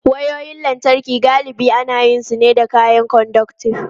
Wayoyin lantarki galibi ana yin su ne da kayan conductive.